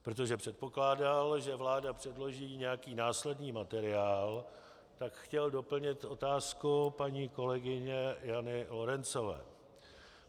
Protože předpokládal, že vláda předloží nějaký následný materiál, tak chtěl doplnit otázku paní kolegyně Jany Lorencové.